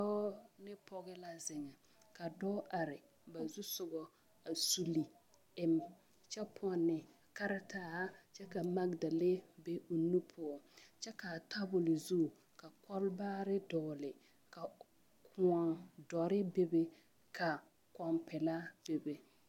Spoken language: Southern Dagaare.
Dɔɔ ne pɔge la zeŋe a dɔɔ are ba zusoga a kyuli eŋ kyɛ pɔnne karataa a kyɛ ka magedalee be o nu poɔ kyɛ ka a tabol zu ka kɔlbaare dɔgle ka kõɔ dɔre bebe ka kõɔ pelaa a bebe.